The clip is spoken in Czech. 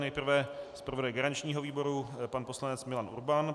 Nejprve zpravodaj garančního výboru pan poslanec Milan Urban.